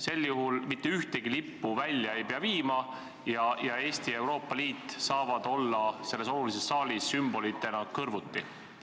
Sel juhul mitte ühtegi lippu välja ei pea viima ja Eesti ja Euroopa Liit saavad selles olulises saalis sümbolitena kõrvuti olla?